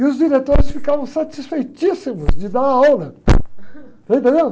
E os diretores ficavam satisfeitíssimos de dar aula. Você entendeu?